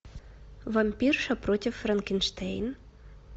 вампирша против франкенштейн